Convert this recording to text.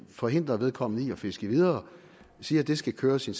forhindre vedkommende i et fiske videre siger at det skal køre som